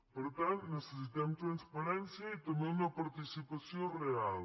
per tant necessitem transparència i també una participació real